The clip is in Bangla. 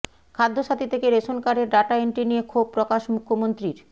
খাদ্যসাথী থেকে রেশন কার্ডের ডাটা এন্ট্রি নিয়ে ক্ষোভ প্রকাশ মুখ্যমন্ত্রীর